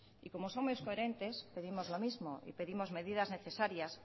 y como somos coherentes pedimos lo mismo y pedimos medidas necesarias